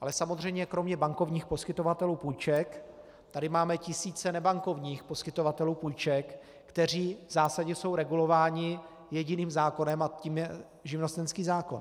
Ale samozřejmě kromě bankovních poskytovatelů půjček tady máme tisíce nebankovních poskytovatelů půjček, kteří v zásadě jsou regulováni jediným zákonem, a tím je živnostenský zákon.